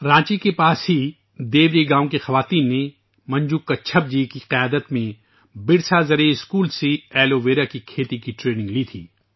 رانچی کے قریب ہی دیوری گاؤں کی خواتین نے منجو کچھپ جی کی قیادت میں برسا زرعی اسکول سے ایلو ویرا کی کاشت کی تربیت لی تھی